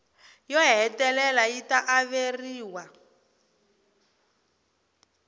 yo hetelela yi ta averiwa